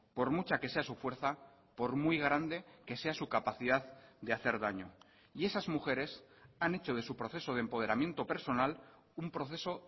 por mucha que sea su fuerza por muy grande que sea su capacidad de hacer daño y esas mujeres han hecho de su proceso de empoderamiento personal un proceso